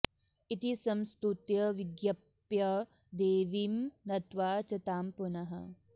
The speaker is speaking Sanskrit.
इति संस्तुत्य विज्ञप्य देवीं नत्वा च तां पुनः